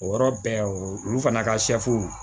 O yɔrɔ bɛɛ olu fana ka